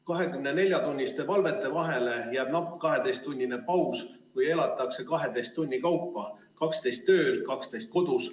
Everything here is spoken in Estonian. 24-tunniste valvete vahele jääb napp 12-tunnine paus või elataksegi 12 tunni kaupa: 12 tööl, 12 kodus.